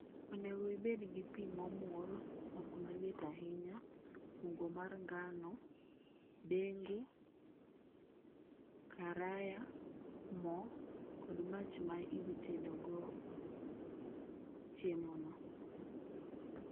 Onego ibed gi pi momur, ok maliet ahinya. Mogo mar ngano, dengu, karaya, mo kod mach ma idhi tedogo chiemono.